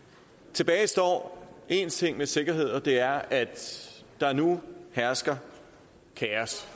tilbage står én ting med sikkerhed og det er at der nu hersker kaos